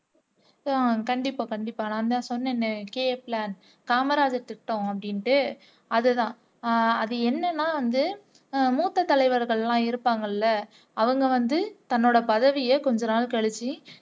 கண்டிப்பா கண்டிப்பா நான்தான் சொன்னனே k plan காமராஜர் திட்டம் அப்டின்னுட்டு அதுதான் அது என்னன்னா வந்து மூத்த தலைவர்கள் எல்லாம் இருப்பாங்க இல்ல